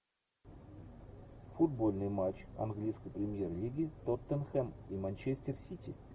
футбольный матч английской премьер лиги тоттенхэм и манчестер сити